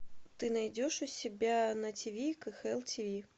ты найдешь у себя на тв кхл тв